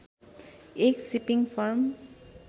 एक shipping form